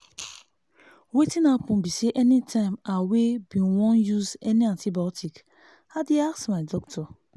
wetin happen be say anytime i wey be wan use any antibiotics i dey ask my doctor